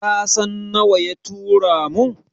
Kasan nawa ya turo mun?